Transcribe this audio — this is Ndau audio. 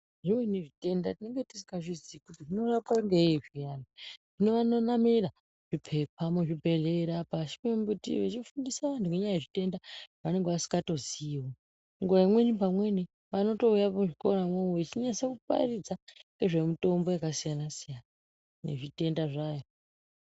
Zvimweni zvitenda tinenge tisingazvizii kuti zvinorape ngei zviyani zvino vanonamira zvipepa muzvibhehlera nepashi pemumbuti vechifundisa vandu ngenyaya yezvitenda zvavanenge vasingatoziiwo nguwa imweni pamweni vanotouya muzvikoramwo mwo vachinyase paridza ngezve mutombo yakasiyana siyana nezvitenda zvayo.